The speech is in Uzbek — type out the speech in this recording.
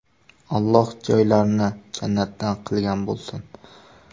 Alloh joylarini jannatdan qilgan bo‘lsin!”.